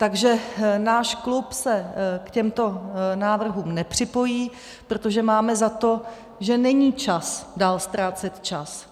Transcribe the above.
Takže náš klub se k těmto návrhům nepřipojí, protože máme za to, že není čas dál ztrácet čas.